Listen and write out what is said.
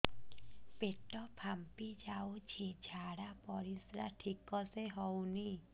ପେଟ ଫାମ୍ପି ଯାଉଛି ଝାଡ଼ା ପରିସ୍ରା ଠିକ ସେ ହଉନି